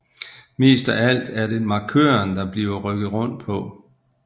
Mest af alt er det markøren der bliver rykket rundt på